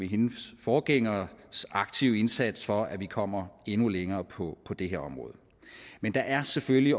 hendes forgængeres aktive indsats for at vi kommer endnu længere på det her område men der er selvfølgelig